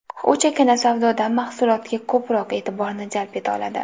U chakana savdoda mahsulotga ko‘proq e’tiborni jalb eta oladi.